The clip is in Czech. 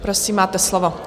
Prosím, máte slovo.